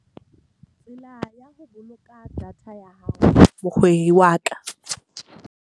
Tsela ya ho boloka data ya hao wa ka.